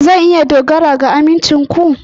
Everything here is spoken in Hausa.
Zan iya dogara ga amincin ku?